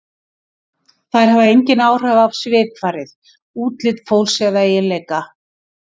Þær hafa engin áhrif á svipfarið, útlit eða eiginleika fólks.